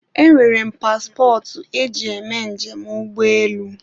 e nwere m pasịpọtụ e ji eme njem ụgbọelu